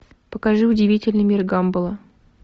покажи удивительный мир гамбола